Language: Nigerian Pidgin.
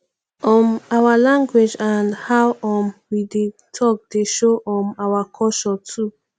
um our language and how um we dey talk dey show um our culture too